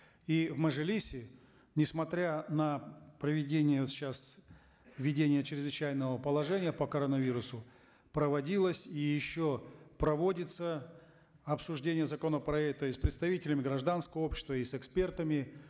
и в мажилисе несмотря на проведение сейчас введение чрезвычайного положения по коронавирусу проводилось и еще проводится обсуждение законопроекта и с представителями гражданского общества и с экспертами